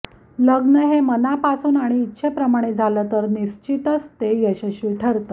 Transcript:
लग्न हे मनापासून आणि इच्छेप्रमाणे झालं तर निश्चितच ते यशस्वी ठरतं